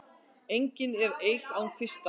Engin er eik án kvista.